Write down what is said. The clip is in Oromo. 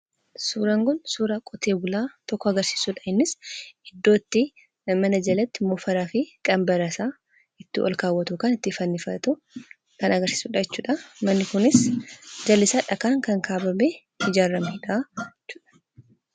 Suuraan kun suuraa qotee bulaa tokko agarsiisudha. Innis iddoo itti mana jalatti gindii fi waanjoo isaa ol kaawwatu yookaan fannifatu kan agarsiisudha. Manni kunis jallisaa dhagaan kan kaarromee ijaaramedha.